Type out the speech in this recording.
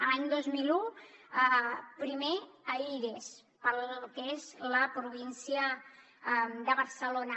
l’any dos mil un primer a ires per al que és la província de barcelona